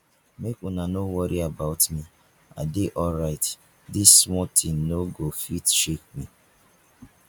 make una no worry about me i dey alright dis small thing no go fit shake me